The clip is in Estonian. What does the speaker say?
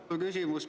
Mul on küsimus.